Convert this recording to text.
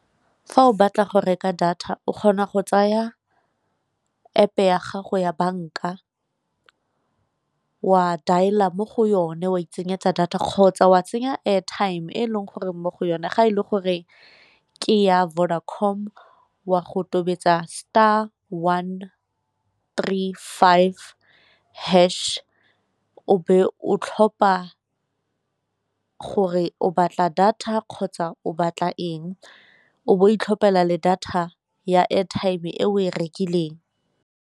Fa o batla go reka data o kgona go tsaya App-e ya gago ya banka wa dialer mo go yone wa itsenyetsa data kgotsa wa tsenya airtime e leng gore mo go yone, ga e le goreng ke ya Vodacom o a go tobetsa star one tree five hash o be o tlhopha gore o batla data kgotsa o batla eng o bo o itlhophela le data ya airtime e o e rekileng.